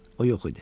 O yox idi.